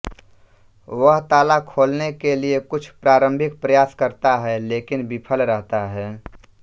वह ताला खोलने के लिए कुछ प्रारंभिक प्रयास करता है लेकिन विफल रहता है